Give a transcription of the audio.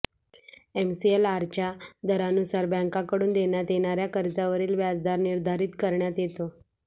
एमसीएलआरच्या दरानुसार बँकाकडून देण्यात येणाऱया कर्जावरील व्याजदर निर्धारित करण्यात येतो